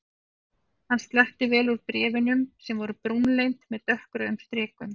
Hann sletti vel úr bréf- unum sem voru brúnleit með dökkrauðum strikum.